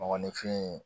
Mɔgɔninfin